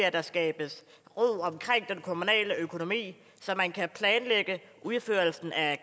at der skabes ro omkring den kommunale økonomi så man kan planlægge udførelsen af